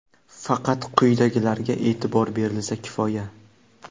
faqat quyidagilarga e’tibor berilsa kifoya.